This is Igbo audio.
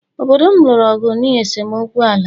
Obodo m lụrụ ọgụ n’ihi esemokwu ala